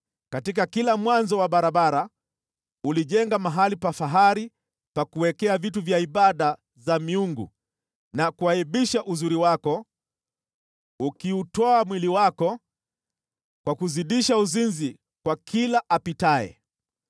Katika kila mwanzo wa barabara ulijenga mahali pa fahari pa ibada za miungu na kuaibisha uzuri wako, ukiutoa mwili wako kwa kuzidisha uzinzi kwa kila apitaye.